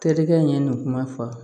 Terikɛ in ye nin kuma fɔ